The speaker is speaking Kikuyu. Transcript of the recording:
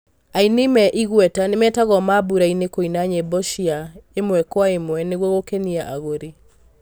Aini me igweta nĩmetagwo mambũrainĩ kũina nyĩmbo cia ĩmwe kwa ĩmwe nĩguo gũkenia agũri.